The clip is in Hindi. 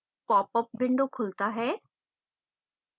popअप window खुलता है